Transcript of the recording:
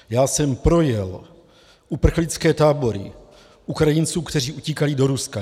Já jsem projel uprchlické tábory Ukrajinců, kteří utíkají do Ruska.